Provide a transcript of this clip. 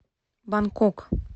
бангкок